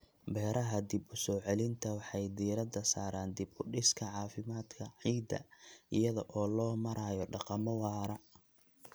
Beeraha dib-u-soo-celinta waxay diiradda saaraan dib-u-dhiska caafimaadka ciidda iyada oo loo marayo dhaqamo waara.